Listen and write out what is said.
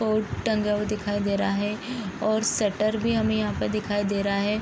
Board टंगा हुआ दिखाई दे रहा है और शटर भी हमे यहाँ पे दिखाई दे रहा है ।